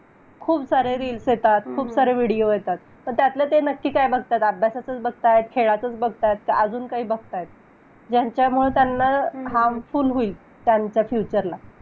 खूप सारे reels येतात. खूप सारे video येतात. तर त्यातनं ते नक्की काय बघतायेत? अभ्यासाचचं बघतायेत, खेळाचचं बघतायेत. कि अजून काही बघतायेत. कि ज्याच्यामुळे खूप harmful होईल. त्यांच्या future ला.